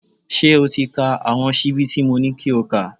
Ṣé o ti ka àwọn ṣíbí tí mo ní kí o kà?.